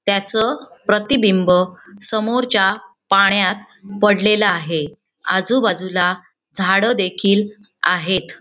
त्याचं प्रतिबिंब समोरच्या पाण्यात पडलेल आहे आजूबाजूला झाडं देखील आहेत.